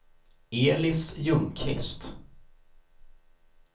Elis Ljungqvist